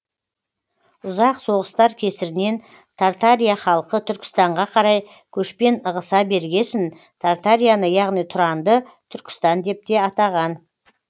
ұзақ соғыстар кесірінен тартария халқы түркістанға қарай көшпен ығыса бергесін тартарияны яғни тұранды түркістан деп те атаған